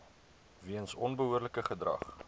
weens onbehoorlike gedrag